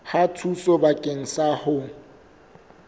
ya thuso bakeng sa ho